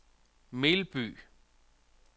Melby